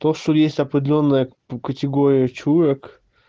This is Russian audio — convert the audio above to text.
то что есть определённая категория чурок